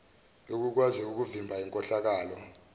yokukwazi ukuvimba inkohlakalo